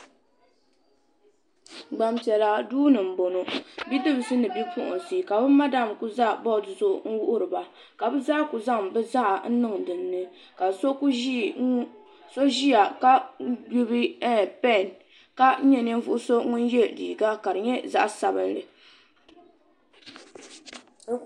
Gbanpiɛla duu ni n boŋo bipuɣunsi ni bidibsi ka bi madam ku ʒɛ bood gbuni n wuhuriba ka bi zaa ku zaŋ bi zaɣa n niŋ dinni ka so ʒiya ka gbuni pɛn ka nyɛ ninvuɣu so ŋun yɛ liiga ka di nyɛ zaɣ sabinli